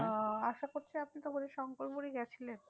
আহ আশা করছি আপনি তো বোধহয় শঙ্করপুরে গিয়েছিলেন?